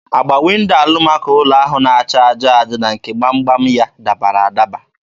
Agba Windo alamako ụlọ ahụ na-acha aja aja na nke gbam gbam ya dabara adaba.